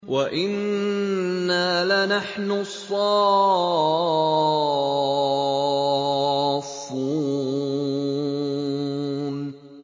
وَإِنَّا لَنَحْنُ الصَّافُّونَ